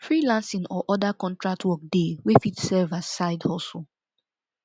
freelancing or other contract work de wey fit serve as side hustle